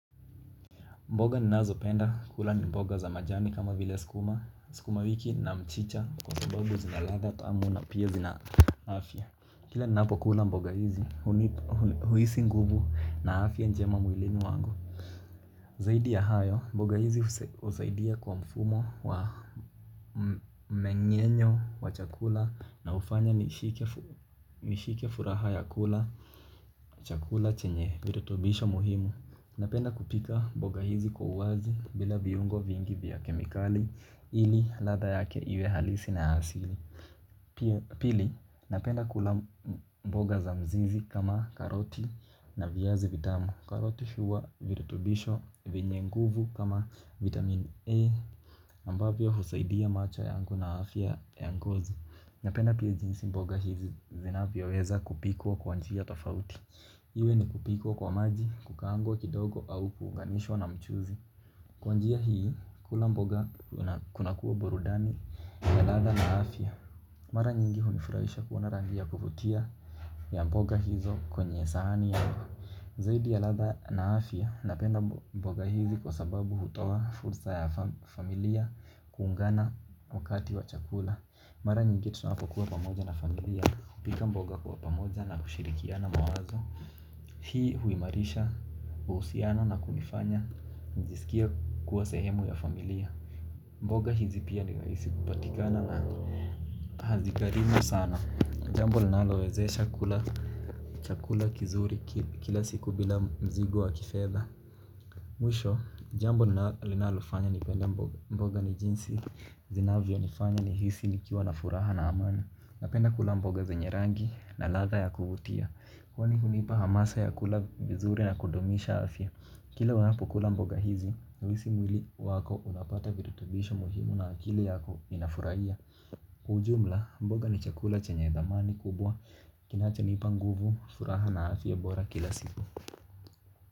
Mboga ninazopenda kula ni mboga za majani kama vile sukuma sukuma wiki na mchicha kwa sababu zina ladha tamu na pia zina afya. Kila ninapokula mboga hizi hunipa huhisi nguvu na afya njema mwilini wangu. Zaidi ya hayo mboga hizi husaidia kwa mfumo wa meng'enyo wa chakula na hufanya nishike furaha ya kula chakula chenye virutubisho muhimu. Napenda kupika mboga hizi kwa uwazi bila viungo vingi vya kemikali ili ladha yake iwe halisi na hasili pia. Pili napenda kula mboga za mzizi kama karoti na viazi vitamu. Karoti huwa virutubisho vyenye nguvu kama vitamin A ambavyo husaidia macho yangu na afya ya ngozi. Napenda pia jinsi mboga hizi zinavyoweza kupikwa kwa njia tofauti. Iwe ni kupikwa kwa maji, kukaangwa kidogo au kuunganishwa na mchuuzi. Kwa njia hii, kula mboga kunakua burudani ya ladha na afya. Mara nyingi hunifurahisha kuona rangi ya kuvutia ya mboga hizo kwenye sahani ya mboga. Zaidi ya ladha na afya, napenda mboga hizi kwa sababu hutoa fursa ya familia kuungana wakati wa chakula. Mara nyingi tunakuwa pamoja na familia. Kupika mboga kwa pamoja na kushirikiana mawazo. Hii huimarisha, uhusiano na kunifanya nijisikie kuwa sehemu ya familia. Mboga hizi pia ni rahisi kupatikana na hazigharimu sana. Jambo linalowezesha kula chakula kizuri kila siku bila mzigo wa kifedha. Mwisho jambo linalofanya nipende mboga ni jinsi zinavyo nifanya nihisi nikiwa na furaha na amani. Napenda kula mboga zenye rangi na ladha ya kuvutia. Kwani hunipa hamasa ya kula vizuri na kudumisha afya. Kila unapo kula mboga hizi, huhisi mwili wako unapata virutubisho muhimu na akili yako inafurahia jumla, mboga ni chakula chenye dhamani kubwa. Kinachonipa nguvu, furaha na afya bora kila siku.